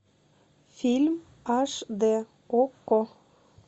фильм аш дэ окко